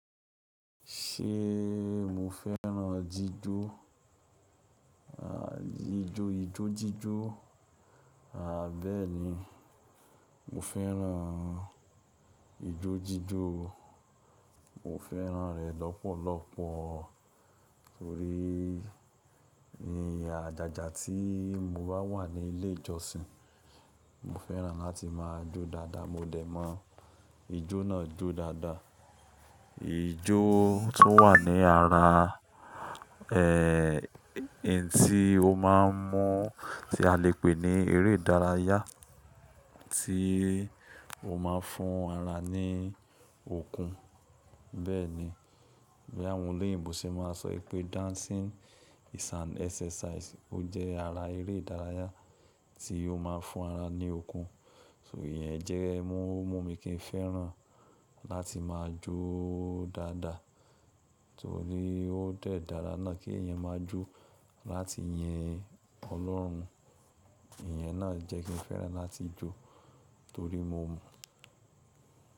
Ṣe mo fẹ́ràn jíjó? À, ijó, ijó jíjó. À, bẹ́ẹ̀ni, mo fẹ́ràn ijó jíjó o. Mo fẹ́ràn rẹ̀ lọ́pọ̀lọpọ̀ torí ní àjàjà tí mo bá wà ní ilé ìjọsìn, mo fẹ́ràn láti máa jó dáadáa. Mo dẹ̀ mọ̀ ijó náà jó dáadáa. Ijó tún wà ní ara, ẹ, n tí o máa ń mú tí a lè pè ní eré ìdárayá tí o máà ń fún ara ní okun. Bẹ́ẹ̀ni, bí àwọn olóyìnbò ṣe máa ń sọ ìpé “dancing is an exercise”. Ó jẹ́ ara eré ìdárayá tí o máa ń fún ara ní okun. So ìyẹn jẹ́ ẹ mú, ó mú mi kí n fẹ́ràn láti máa jó dáadáa torí ó dẹ̀ dára náà kí èèyàn máa jó láti yin Ọlọ́run. Ìyẹn náà jẹ́ kí n fẹ́ràn láti jó torí mo mọ̀